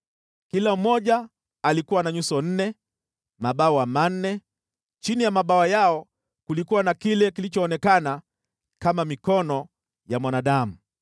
Kila mmoja alikuwa na nyuso nne, mabawa manne, chini ya mabawa yao kulikuwa na kile kilichoonekana kama mikono ya mwanadamu.